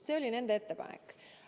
See oli nende ettepanek.